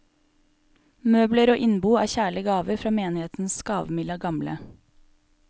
Møbler og innbo er kjærlige gaver fra menighetens gavmilde gamle.